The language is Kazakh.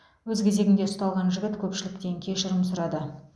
өз кезегінде ұсталған жігіт көпшіліктен кешірім сұрады